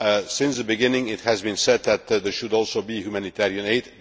Since the beginning, it has been said that there should also be humanitarian aid.